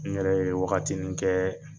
N ɲɛrɛ ye wagatinin kɛ